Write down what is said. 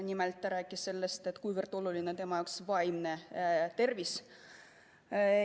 Nimelt ta rääkis sellest, kui oluline tema arvates on laste vaimne tervis.